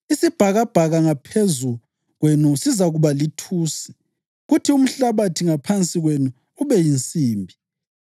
Isibhakabhaka ngaphezu kwenu sizakuba lithusi, kuthi umhlabathi ngaphansi kwenu ube yinsimbi.